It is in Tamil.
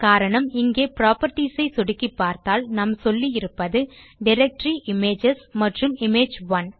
காரணம் இங்கே புராப்பர்ட்டீஸ் ஐ சொடுக்கிப் பார்த்தால் நாம் சொல்லி இருப்பது டைரக்டரி இமேஜஸ் மற்றும் இமேஜ் 1